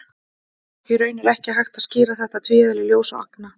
Í raun er ekki hægt að skýra þetta tvíeðli ljóss og agna.